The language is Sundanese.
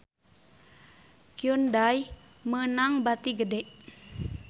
Hyundai meunang bati gede